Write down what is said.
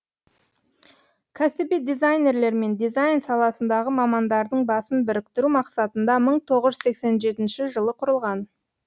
кәсіби дизайнерлер мен дизайн саласындағы мамандардың басын біріктіру мақсатында мың тоғыз жүз сексен жетінші жылы құрылған